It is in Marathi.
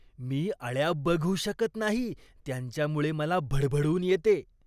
मी अळ्या बघू शकत नाही, त्यांच्यामुळे मला भडभडून येते.